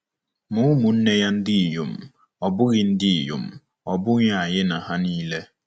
Ma umu-nne-ya ndinyom, ọ̀ bughi ndinyom, ọ̀ bughi ayi na ha nile?”